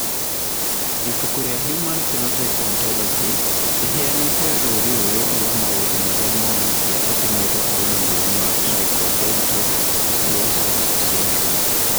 Ibuku rĩa Human Phenotype Ontology rĩheanĩte rũũri rũrũ rwa maũndũ marĩa monanagia atĩ mũndũ arĩ na mũrimũ wa Tricho dento osseous syndrome.